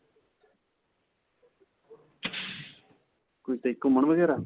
ਕਿਤੇ ਘੁਮੰਣ ਵਗੈਰਾ?